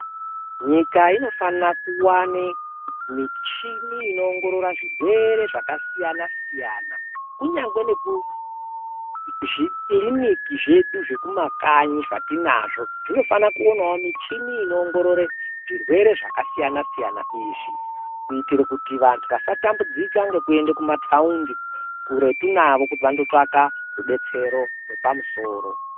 Nyika inofane kuwane michini inoongorora zvirwere zvakasiyanasiyana kunyangwe nekuzvikiriniki zvedu zvekumakanyi zvatinazvo zvinofane kuwonawo michini inoongorore zvirwere zvakasiyanasiyana izvi kuitire kuti vanhu vasatambudzika ngekuenda kumataundi kuretu navo kuti vandotsvaka rudetsero rwepamusoro.